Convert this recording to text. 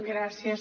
gràcies